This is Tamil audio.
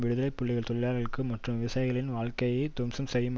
விடுதலை புலிகள் தொழிலாளர்கள் மற்றும் விவசாயிகளின் வாழ்க்கையை துவம்சம்செய்யும்